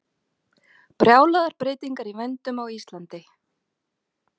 Brjálaðar breytingar í vændum á Íslandi